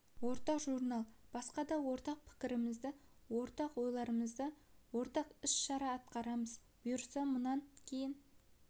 ортақ журнал басқа да ортақ пікірлеріміз бар ортақ ойларымызды ортақ іс-шара атқарамыз бұйырса мұнан кейін